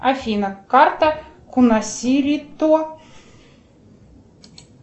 афина карта кунасирито